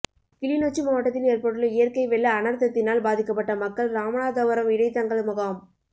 கிளிநொச்சி மாவட்டத்தில் ஏற்பட்டுள்ள இயற்கை வெள்ள அனர்த்தத்தினால் பாதிக்கப்பட்ட மக்கள் இராமநாதபுரம் இடைத்தங்கள் முகாம்